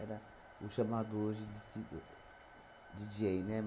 Era o chamado hoje diz que do Díi Djêi, né?